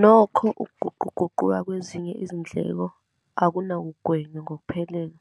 Nokho, ukuguquguquka kwezinye izindleko akunakugwenywa ngokuphelele.